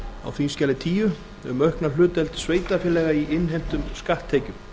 á þingskjali tíu um aukna hlutdeild sveitarfélaga í innheimtum skatttekjum